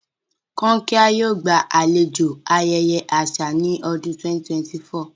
Kankia yoo gbalejo ayẹyẹ aṣa ni ọdun 2024.